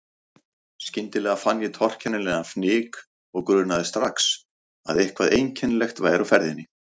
Skyndilega fann ég torkennilegan fnyk og grunaði strax að eitthvað einkennilegt væri á ferðinni.